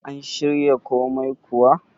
an shirya komai kuwa?